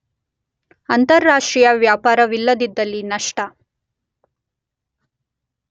ಅಂತಾರಾಷ್ಟ್ರೀಯ ವ್ಯಾಪಾರವಿಲ್ಲದಿದ್ದಲ್ಲಿ ನಷ್ಟ